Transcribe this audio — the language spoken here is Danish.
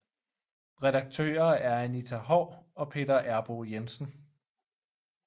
Redaktører er Anita Haahr og Peter Errboe Jensen